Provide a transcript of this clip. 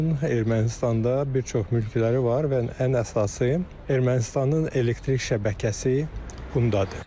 Onun Ermənistanda bir çox mülkləri var və ən əsası Ermənistanın elektrik şəbəkəsi bundadır.